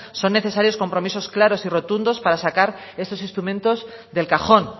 son necesarios compromisos claros y rotundos para sacar estos instrumentos del cajón